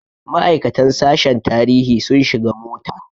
Ma'aikatan sashen tarihi sun shiga mota.